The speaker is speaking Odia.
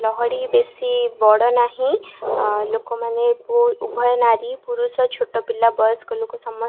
ଲହଡ଼ି ବେଶୀ ବଡ଼ ନାହିଁ ଲୋକମାନେ ପୋ ଉଭୟ ନାରୀ ପୁରୁଷ ଛୋଟପିଲା ବୟସ୍କ ଲୋକ ସମ --